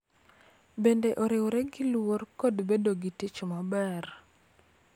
Bende, oriwre gi luor kod bedo gi tich maber.